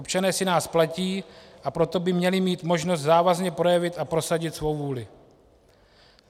Občané si nás platí, a proto by měli mít možnost závazně projevit a prosadit svou vůli.